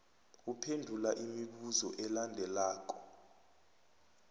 uphendula imibuzo elandelako